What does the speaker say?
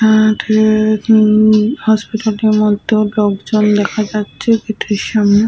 আর এ উম হসপিটাল টির মধ্যে ও লোকজন দেখা যাচ্ছে গেট এর সামনে।